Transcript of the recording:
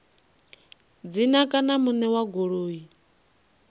dzina kana muṋe wa goloi